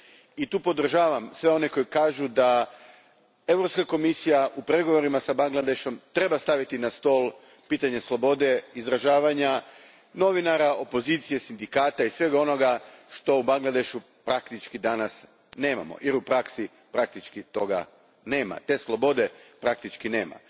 je, i tu podržavam sve one koji kažu da Europska komisija u pregovorima s Bangladešom treba staviti na stol pitanje slobode izražavanja novinara, opozicije, sindikata i svega onoga što u Bangladešu danas praktično nemamo, jer u praksi tih sloboda praktički nema.